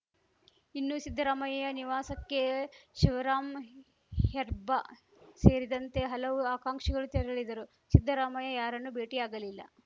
ಇನ್ನು ಸಿದ್ದರಾಮಯ್ಯ ನಿವಾಸಕ್ಕೆ ಶಿವರಾಮ್ ಹೆರ್ಬಾ ಸೇರಿದಂತೆ ಹಲವು ಆಕಾಂಕ್ಷಿಗಳು ತೆರಳಿದರೂ ಸಿದ್ದರಾಮಯ್ಯ ಯಾರನ್ನು ಭೇಟಿಯಾಗಲಿಲ್ಲ